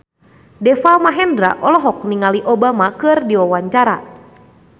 Deva Mahendra olohok ningali Obama keur diwawancara